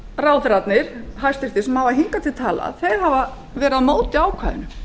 samfylkingarráðherrarnir hæstvirts sem hafa hingað til talað hafa verið á móti ákvæðinu